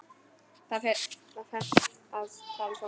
Þér ferst að tala svona!